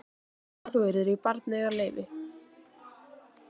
Að þú yrðir í barneignarleyfi.